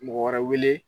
Mɔgɔ wɛrɛ wele